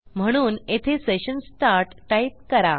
म्हणून येथे session start type करा